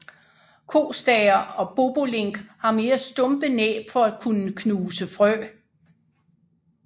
Kostære og bobolink har mere stumpe næb for at kunne knuse frø